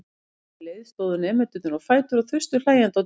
Um leið stóðu nemendurnir á fætur og þustu hlæjandi á dyr.